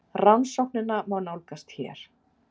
Rannsóknina má nálgast hér